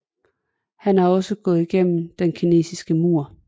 Han har også gået gennem Den Kinesiske Mur